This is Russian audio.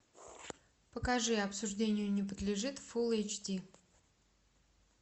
покажи обсуждению не подлежит фул эйч ди